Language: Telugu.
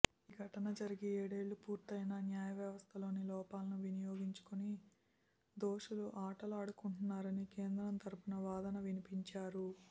ఈ ఘటన జరిగి ఏడేళ్లు పూర్తయినా న్యాయవ్యవస్థలోని లోపాలను వినియోగించుకుని దోషులు ఆటలాడుకుంటున్నారని కేంద్రం తరఫున వాదన వినిపించారు